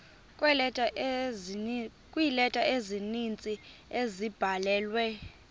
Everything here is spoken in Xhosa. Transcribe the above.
kweeleta ezininzi ezabhalelwa